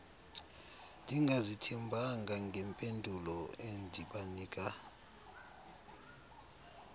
ndingazithembanga ngempendulo endibanika